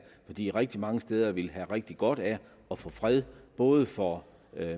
fordi rigtig mange steder ville have rigtig godt af at få fred både for